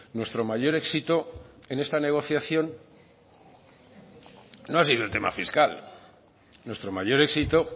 nuestro mayor éxito en esta negociación no ha sido el tema fiscal nuestro mayor éxito